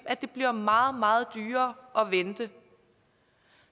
at det bliver meget meget dyrere at vente